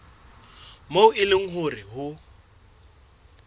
moo e leng hore ho